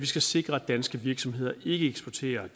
skal sikres at danske virksomheder ikke eksporterer